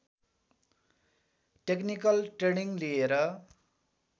technical training लिएर